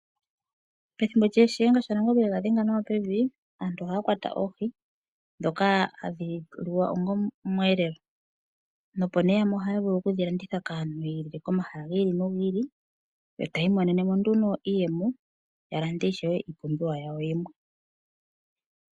Pethimbo lya Shiyenga sha Nangombe ye ga dhenga nawa pevi, aantu ohaa kwata oohi ndhoka hadhi liwa onga omweelelo nopo nee yamwe ohaa vulu okudhi landitha kaantu nenge komahala gi ili nogi ili yo tayi imonene mo nduno iiyemo ya lande ishewe iipumbiwa yawo yimwe.